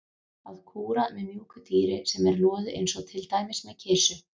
Að kúra með mjúku dýri sem er loðið eins og til dæmis með kisu.